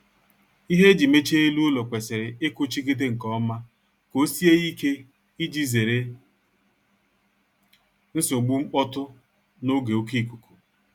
Ihe e ji mechie elu ụlọ kwesịrị ịkụchigide nkeọma ka ọ sie ike ịji zere nsogbu mkpọtụ n'oge oké ikuku